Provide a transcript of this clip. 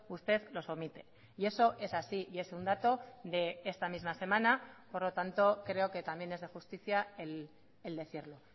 usted los omite y eso es así y es un dato de esta misma semana por lo tanto creo que también es de justicia el decirlo